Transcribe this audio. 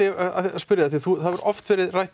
spyrja þig því það hefur oft verið rætt